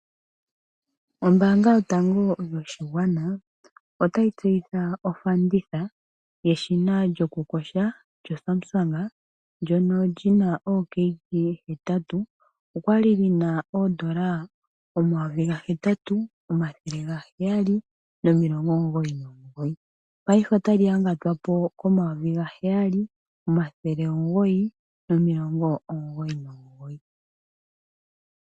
Ombaanga yotango yopashigwana, otayi tseyitha othanditha yeshina lyosumsang lyokukosha, ndjoka lina ookg hetatu. Olyali lina oondola omayovi gahetatu, omathele gaheyali nomulongo omugoyi nomugoyi, ihe paife otali yangatwapo komayovi gaheyali, omathele omugoyi, nomulongo omugoyi nomugoyi.